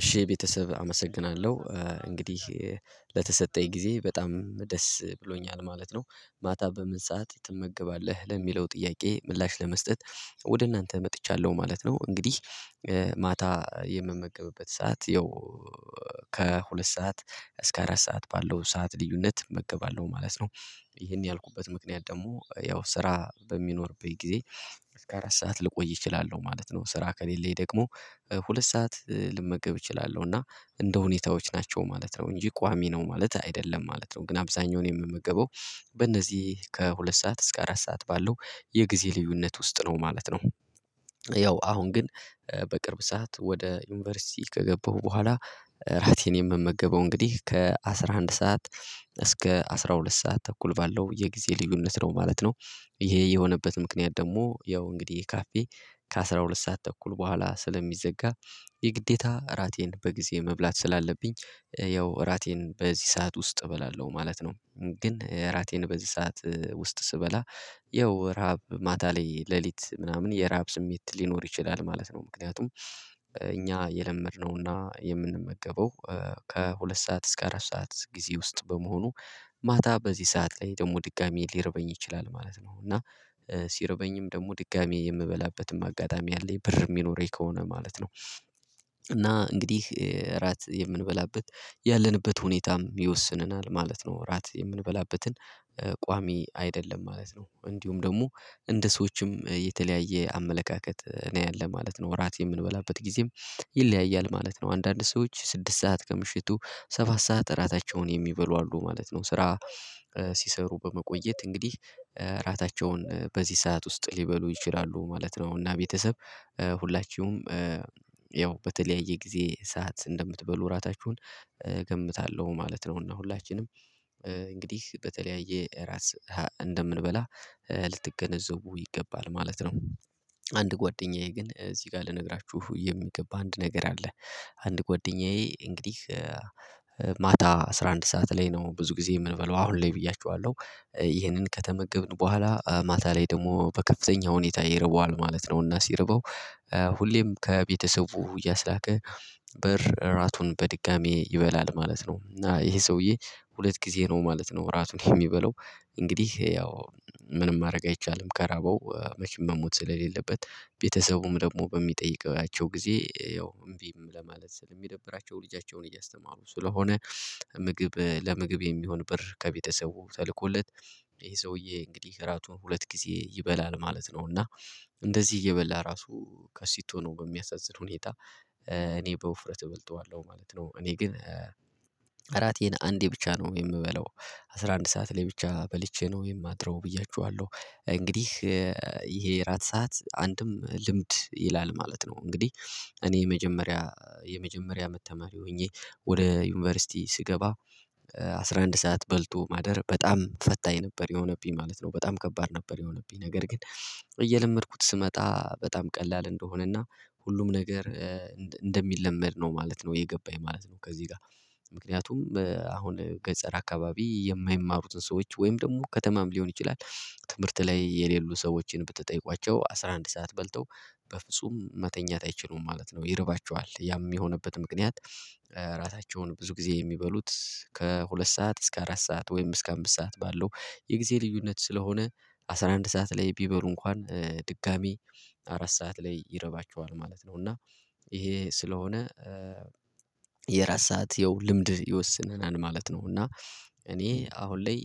እሺ ቤተሰብ አመሰግናለሁ እንግዲህ ለተሰጠኝ ጊዜ በጣም ደስ ብሎኛል ማለት ነው። ማታ በምን ሰዓት ትመገባለህ ለሚለው ጥያቄ ምላሽ ለመስጠት ወደ እናንተ መጥቻለሁ ማለት ነው። እንግዲህ ማታ የምመገብበት ሰዓት ያው ከሁለት ሰዓት እስከ አራት ሰዓት ባለው ሰዓት ልዩነት እመገባለሁ ማለት ነው። ይሄን ያልኩበት ምክንያት ደግሞ ያው ስራ በሚኖርብኝ ጊዜ እስከ አራት ሰዓት ልቆይ እችላለሁ ማለት ነው። ስራ ከሌለኝ ደግሞ ሁለት ሰዓት ልመገብ እችላለሁ እና እንደ ሁኔታዎች ናቸው ማለት ነው እንጂ ቋሚ ነው ማለት አይደለም ማለት ነው። ግን አብዛኛውን የምመገበው በእነዚህ ከሁለት ሰዓት እስከ አራት ሰዓት ባለው የጊዜ ልዩነት ውስጥ ነው ማለት ነው። ያው አሁን ግን በቅርብ ሰዓት ወደ ዩኒቨርሲቲ ከገባሁ በኋላ ራቴን የምመገበው እንግዲህ ከአስራ አንድ ሰዓት እስከ አስራ ሁለት ሰዓት ተኩል ባለው የጊዜ ልዩነት ነው ማለት ነው። ይሄ የሆነበት ምክንያት ደግሞ ያው እንግዲህ ካፌ ከአስራ ሁለት ሰዓት ተኩል በኋላ ስለሚዘጋ የግዴታ እራቴን በጊዜ መብላት ስላለብኝ ያው እራቴን በዚህ ሰዓት ውስጥ እበላለሁ ማለት ነው። ግን እራቴን በዚህ ሰዓት ውስጥ ስበላ ያው ረሃብ ማታ ላይ ሌሊት ምናምን የረሃብ ስሜት ሊኖር ይችላል ማለት ነው። ምክንያቱም እኛ የለመድነውና የምንመገበው ከሁለት ሰዓት እስከ አራት ሰዓት ጊዜ ውስጥ በመሆኑ ማታ በዚህ ሰዓት ላይ ደግሞ ድጋሜ ሊረበኝ ይችላል ማለት ነው። እና ሲረበኝም ደግሞ ድጋሚ የምበላበትም አጋጣሚ አለኝ ብር የሚኖረኝ ከሆነ ማለት ነው። እና እንግዲህ እራት የምንበላበት ያለንበት ሁኔታም ይወስነናል ማለት ነው። እራት የምንበላበትን ቋሚ አይደለም ማለት ነው። እንዲሁም ደግሞ እንደ ሰዎችም የተለያየ አመለካከት ነው ያለ ማለት ነው። እራት የምንበላበት ጊዜም ይለያያል ማለት ነው። አንዳንድ ሰዎች ስድስት ሰዓት ከምሽቱ ሰባት ሰዓት እራታቸውን የሚበሉ አሉ ማለት ነው። ስራ ሲሰሩ በመቆየት እንግዲህ እራታቸውን በዚህ ሰዓት ውስጥ ሊበሉ ይችላሉ ማለት ነው። እና ቤተሰብ ሁላችሁም ያው በተለያየ ጊዜ ሰዓት እንደምትበሉ ራታችሁን እገምታለሁ ማለት ነው። እና ሁላችንም እንግዲህ በተለያየ ራት ሰዓት እንደምንበላ ልትገነዘቡ ይገባል ማለት ነው። አንድ ጓደኛዬ ግን እዚህ ጋር ልነግራችሁ የሚገባ አንድ ነገር አለ። አንድ ጎደኛዬ እንግዲህ ማታ አስራ አንድ ሰዓት ላይ ነው ብዙ ጊዜ የምንበለው አሁን ላይ ብያችኋለሁ ይህንን ከተመገብን በኋላ ማታ ላይ ደግሞ በከፍተኛ ሁኔታ ይርበዋል ማለት ነውና ሲርበው ሁሌም ከቤተሰቡ እያስላከ ብር እራቱን በድጋሚ ይበላል ማለት ነው። እና ይሄ ሰውዬ ሁለት ጊዜ ነው ማለት ነው። እራቱን የሚበለው እንግዲህ ያው ምንም ማድረግ አይቻልም ከራበው መቼም መሞት ስለሌለበት ቤተሰቡም ደግሞ በሚጠይቀው ያቸው ጊዜ ያው እምቢም ለማለት ስለሚደብራቸው ልጃቸውን እያስተማሩ ስለሆነ ምግብ ለምግብ የሚሆን ብር ከቤተሰቡ ተልኮለት ይሄ ሰውዬ እንግዲህ እራቱን ሁለት ጊዜ ይበላል ማለት ነው። እና እንደዚህ እየበላ ራሱ ከሲቶ ነው በሚያሳዝን ሁኔታ እኔ በውፍረት እበልጠዋለሁ ማለት ነው። እኔ ግን አራቴን አንዴ ብቻ ነው የምበለው አስራ አንድ ሰዓት ላይ ብቻ በልቼ ነው የማድረው ብያችኋለሁ። እንግዲህ ይሄ ራት ሰዓት አንድም ልምድ ይላል ማለት ነው። እንግዲህ እኔ የመጀመሪያ የመጀመሪያ አመት ተማሪ ሆኜ ወደ ዩኒቨርሲቲ ስገባ አስራ አንድ ሰዓት በልቶ ማደር በጣም ፈታኝ ነበር የሆነብኝ ማለት ነው። በጣም ከባድ ነበር የሆነብኝ ነገር ግን እየለመድኩት ስመጣ በጣም ቀላል እንደሆነና ሁሉም ነገር እንደሚለመድ ነው ማለት ነው የገባኝ ማለት ነው። ከዚህ ጋር ምክንያቱም አሁን ገጠር አካባቢ የማይማሩትን ሰዎች ወይም ደግሞ ከተማም ሊሆን ይችላል ትምህርት ላይ የሌሉ ሰዎችን ብትጠይቋቸው አስራ አንድ ሰዓት በልተው በፍጹም መተኛት አይችሉም ማለት ነው። ይርባቸዋል ያም የሆነበት ምክንያት። ራታቸውን ብዙ ጊዜ የሚበሉት ከሁለት ሰዓት እስከ አራት ሰዓት ወይም እስከ አምስት ሰዓት ባለው የጊዜ ልዩነት ስለሆነ አስራ አንድ ሰዓት ላይ ቢበሉ እንኳን ድጋሚ አራት ሰዓት ላይ ይረባቸዋል ማለት ነው። እና ይሄ ስለሆነ የእራት ሰዓት ያው ልምድ ይወስነናል ማለት ነው። እና እኔ አሁን ላይ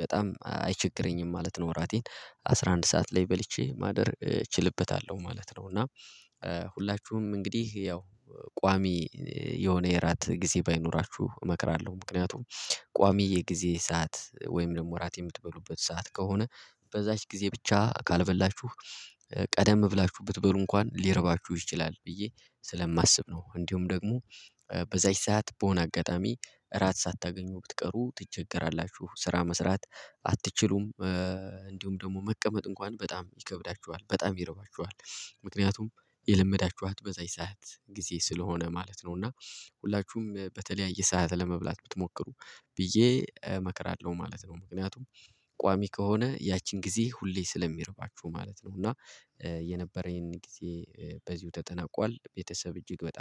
በጣም አይቸግረኝም ማለት ነው። እራቴን አስራ አንድ ሰዓት ላይ በልቼ ማደር እችልበታለሁ ማለት ነው። እና ሁላችሁም እንግዲህ ያው ቋሚ የሆነ የእራት ጊዜ ባይኖራችሁ እመክራለሁ ምክንያቱም ቋሚ የጊዜ ሰዓት ወይም ደግሞ እራት የምትበሉበት ሰዓት ከሆነ በዛች ጊዜ ብቻ ካልበላችሁ ቀደም ብላችሁ ብትበሉ እንኳን ሊረባችሁ ይችላል ብዬ ስለማስብ ነው። እንዲሁም ደግሞ በዛች ሰዓት በሆነ አጋጣሚ እራት ሳታገኙ ብትቀሩ ትቸገራላችሁ ስራ መስራት አትችሉም። እንዲሁም ደግሞ መቀመጥ እንኳን በጣም ይከብዳችኋል በጣም ይረባችኋል ምክንያቱም የለመዳችኋት በዛች ሰዓት ጊዜ ስለሆነ ማለት ነው። እና ሁላችሁም በተለያየ ሰዓት ለመብላት ብትሞክሩ ብዬ እመክራለሁ ማለት ነው። ምክንያቱም ቋሚ ከሆነ ያቺን ጊዜ ሁሌ ስለሚርባችሁ ማለት ነው። እና የነበረኝን ጊዜ በዚሁ ተጠናቋል። ቤተሰብ እጅግ በጣም